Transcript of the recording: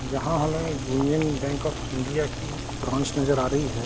यहां हमे Union Bank of India की ब्रांच नजर आ रही है।